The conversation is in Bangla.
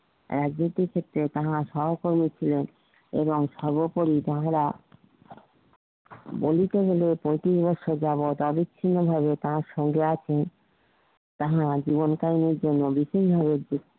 রাজনীতি ক্ষেত্রে তাহারা সহকর্মী ছিলেন এবং সর্বোপরি যাহারা বলিতে গেলে পঁয়ত্রিশে বছর যাবত আবিছিন্ন ভাবে তার সঙ্গে আছে তাহার আজিবন কারি দের জন্য